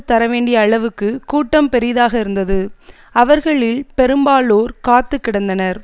தரவேண்டிய அளவுக்கு கூட்டம் பெரிதாக இருந்தது அவர்களில் பெரும்பாலோர் காத்து கிடந்தனர்